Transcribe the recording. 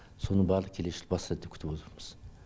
соның барлығы келесі жылы басталады деп күтіп отырмыз